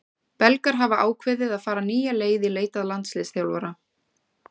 Belgar hafa ákveðið að fara nýja leið í leit að landsliðsþjálfara.